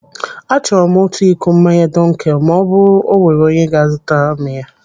Achọrọ m otu iko mmanya dunkel ma ọ bụrụ o nwere onye ga a zụtara m ya.